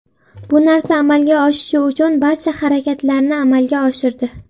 Bu narsa amalga oshishi uchun barcha harakatlarni amalga oshirdi.